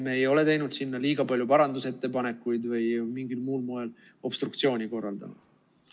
Me ei ole teinud sinna liiga palju parandusettepanekuid või mingil muul moel obstruktsiooni korraldanud.